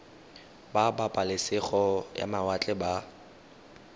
ba pabalesego ya mawatle ba